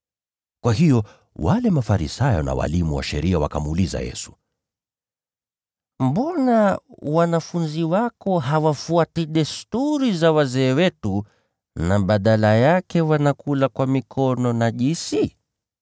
Kwa hiyo wale Mafarisayo na walimu wa sheria wakamuuliza Yesu, “Mbona wanafunzi wako hawafuati desturi za wazee, na badala yake wanakula kwa mikono najisi?”